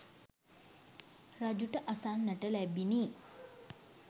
රජුට අසන්නට ලැබිණි.